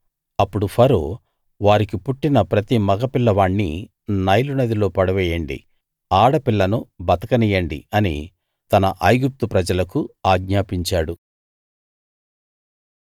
అప్పుడు ఫరో వారికి పుట్టిన ప్రతి మగపిల్లవాణ్ణి నైలు నదిలో పడవేయండి ఆడపిల్లను బతకనియ్యండి అని తన ఐగుప్తు ప్రజలకు ఆజ్ఞాపించాడు